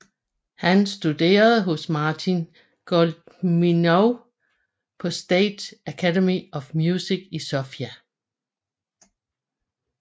Han studerede hos Marin Goleminov på State Academy of Music i Sofia